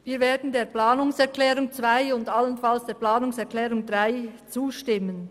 Wir werden dem Abänderungsantrag 2 und allenfalls der Planungserklärung 3 zustimmen.